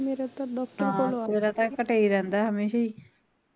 ਤੇਰਾ ਘਟਿਆ ਹੀ ਰਹਿੰਦਾ ਹਮੇਸ਼ਾ ਈ